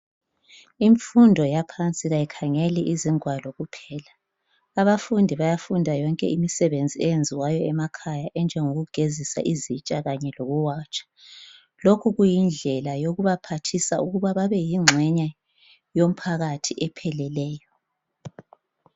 Imfundo yaphansi kayikhangeli izingwalo kuphela, abafundi bayafunda yonke imisebenzi eyenziwayo emakhaya enjengokugezisa izitsha kanye lokuwatsha lokhu kuyindlela yokubaphathisa ukuba babe yingxenye yomphakathi epheleleyo.